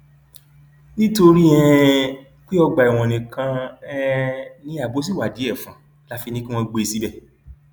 nítorí um pé ọgbà ẹwọn nìkan um ni ààbò ṣì wà díẹ fún un la fi ní kí wọn gbé e síbẹ